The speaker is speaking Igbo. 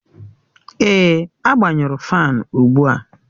Èè, agbanyụrụ faani ugbu a